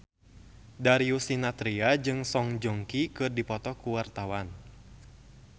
Darius Sinathrya jeung Song Joong Ki keur dipoto ku wartawan